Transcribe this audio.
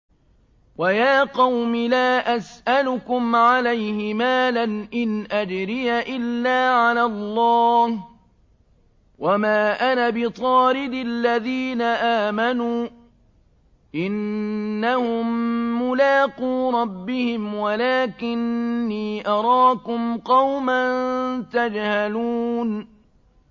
وَيَا قَوْمِ لَا أَسْأَلُكُمْ عَلَيْهِ مَالًا ۖ إِنْ أَجْرِيَ إِلَّا عَلَى اللَّهِ ۚ وَمَا أَنَا بِطَارِدِ الَّذِينَ آمَنُوا ۚ إِنَّهُم مُّلَاقُو رَبِّهِمْ وَلَٰكِنِّي أَرَاكُمْ قَوْمًا تَجْهَلُونَ